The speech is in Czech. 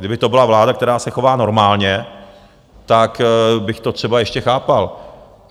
Kdyby to byla vláda, která se chová normálně, tak bych to třeba ještě chápal.